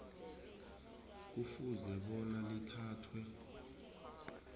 kufuze bona lithathwe